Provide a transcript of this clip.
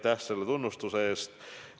Kõigepealt aitäh tunnustuse eest!